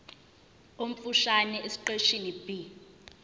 omfushane esiqeshini b